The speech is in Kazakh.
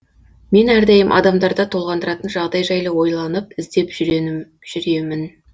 мен әрдайым адамдарда толғандыратын жағдай жайлы ойланып ізденіп жүремін